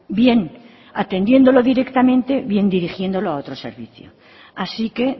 bien atendiéndolo directamente bien dirigiéndolo a otro servicio así que